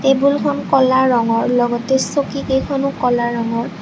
টেবুলখন ক'লা ৰঙৰ লগতে চকীকেইখনো ক'লা ৰঙৰ।